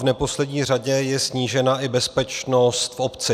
V neposlední řadě je snížena i bezpečnost v obci.